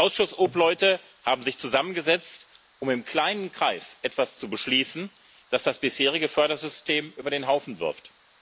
Die Ausschussobleute haben sich zusammengesetzt, um im kleinen Kreis etwas zu beschließen, das das bisherige Fördersystem über den Haufen wirft.